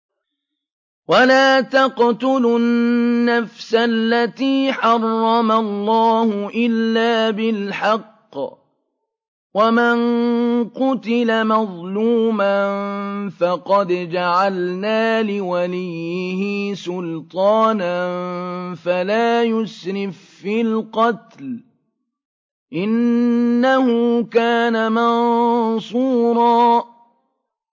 وَلَا تَقْتُلُوا النَّفْسَ الَّتِي حَرَّمَ اللَّهُ إِلَّا بِالْحَقِّ ۗ وَمَن قُتِلَ مَظْلُومًا فَقَدْ جَعَلْنَا لِوَلِيِّهِ سُلْطَانًا فَلَا يُسْرِف فِّي الْقَتْلِ ۖ إِنَّهُ كَانَ مَنصُورًا